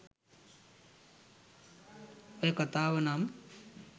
ඔය කතාව නම්